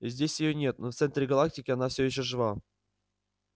здесь её нет но в центре галактики она все ещё жива